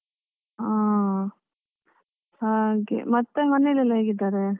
ಹಾ ಹಾಗೆ, ಮತ್ತೆ ಮನೇಲೆಲ್ಲಾ ಹೇಗಿದ್ದಾರೆ?